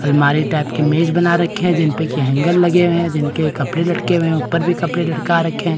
अलमारी टाइप के मेज बना रखे हैं जिन पे की हैंगर लगे हुए हैं | जिनके कपड़े लटके हुए है ऊपर भी कपड़े लटका रखे हैं ।